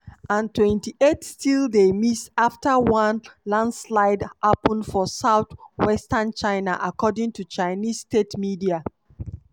and 28 still dey miss afta one lanslide happun for south-western china according to chinese state media.